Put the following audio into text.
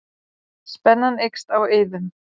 Spennan eykst á Eiðum